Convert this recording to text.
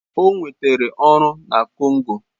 O nwetara ọrụ na Congo.